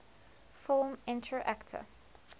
film entr acte